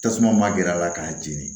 Tasuma ma gɛr'a la k'a jeni